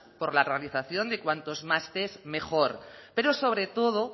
por la realización de cuantos más tests mejor pero sobre todo